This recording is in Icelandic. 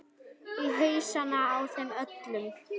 Í hausana á þeim öllum.